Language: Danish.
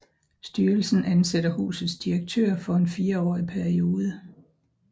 Styrelsen ansætter husets direktør for en fireårig periode